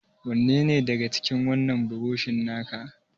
Wanne ne daga cikin wannan burushan naka?